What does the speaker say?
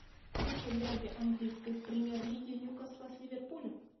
включай дерби английской премьер лиги ньюкасла с ливерпулем